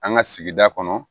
An ka sigida kɔnɔ